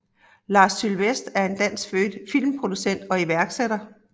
Lars Sylvest er er danskfødt filmproducent og iværksætter